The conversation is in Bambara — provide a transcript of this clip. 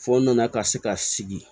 Fɔ nana ka se ka sigi